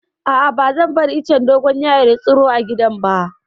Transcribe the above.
A'a, ba zan bari icen dogon yaro ya tsiro a gidana ba.